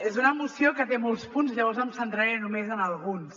és una moció que té molts punts llavors em centraré només en alguns